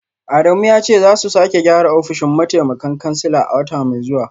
Adamu ya ce za su sake gyara ofishin mataimakan kansila a wata mai zuwa